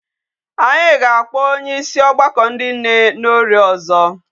Anyi ga-akpọ onyeosi ogbako ndi nne n'orie ozo.